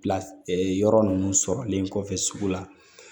Pilayɔrɔ ninnu sɔrɔlen kɔfɛ sugu la